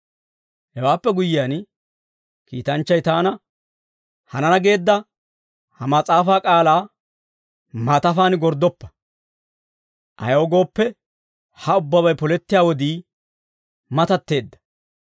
Hewaappe guyyiyaan, kiitanchchay taana, «Hanana geedda ha mas'aafaa k'aalaa maatafaan gorddoppa. Ayaw gooppe, ha ubbabay polettiyaa wodii matatteedda.